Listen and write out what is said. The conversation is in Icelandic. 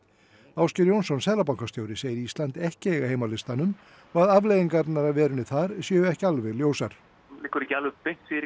Ásgeir Jónsson seðlabankastjóri segir Ísland ekki eiga heima á listanum og að afleiðingar af verunni þar séu ekki alveg ljósar það liggur ekki alveg beint fyrir